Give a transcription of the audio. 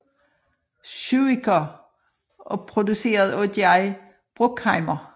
Zuiker og produceret af Jerry Bruckheimer